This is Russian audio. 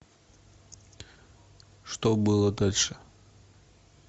что было дальше